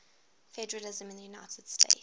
federalism in the united states